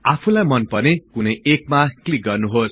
आफुलाई मनपर्ने कुनै एकमा क्लिक गर्नुहोस्